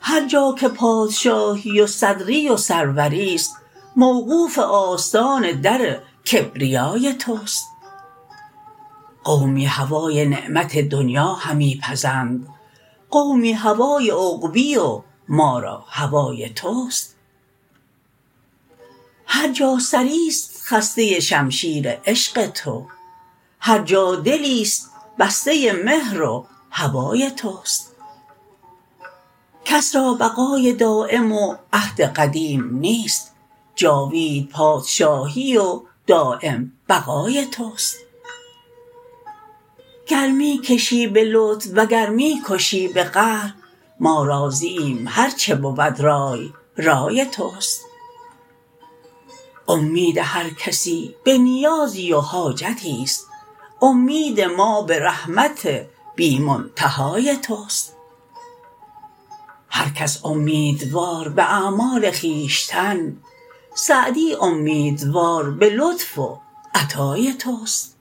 هر جا که پادشاهی و صدری و سروریست موقوف آستان در کبریای توست قومی هوای نعمت دنیا همی پزند قومی هوای عقبی و ما را هوای توست هر جا سریست خسته شمشیر عشق تو هر جا دلیست بسته مهر و هوای توست کس را بقای دایم و عهد قدیم نیست جاوید پادشاهی و دایم بقای توست گر می کشی به لطف وگر می کشی به قهر ما راضییم هرچه بود رای رای توست امید هر کسی به نیازی و حاجتی است امید ما به رحمت بی منتهای توست هر کس امیدوار به اعمال خویشتن سعدی امیدوار به لطف و عطای توست